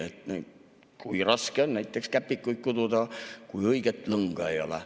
kui raske on käpikuid kududa, kui õiget lõnga ei ole.